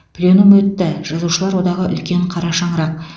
пленум өтті жазушылар одағы үлкен қара шаңырақ